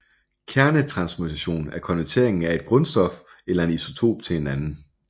Kernetransmutation er konverteringen af et grundstof eller en isotop til en anden